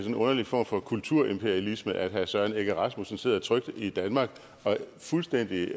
en underlig form for kulturimperialisme at herre søren egge rasmussen sidder trygt i danmark og fuldstændig